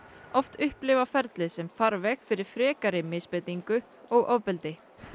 oft upplifa ferlið sem farveg fyrir frekari misbeitingu og ofbeldi